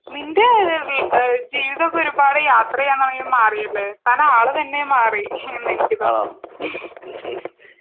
നിൻ്റെ ജീവിതോക്കെ ഒരുപാട് യാത്ര ചെയ്യാൻ തുടങ്ങിയതിൽ മാറിയല്ലേ താൻ ആള് തന്നെ മാറി എന്ന് എനിക്ക് തോനുന്നു